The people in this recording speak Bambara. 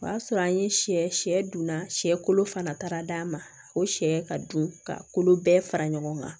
O y'a sɔrɔ an ye sɛ sɛ dunna sɛ kolo fana taara d'a ma o sɛ ka dun ka kolo bɛɛ fara ɲɔgɔn kan